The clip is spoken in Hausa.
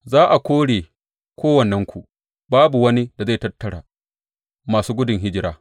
Za a kore kowannenku, babu wani da zai tattara masu gudun hijira.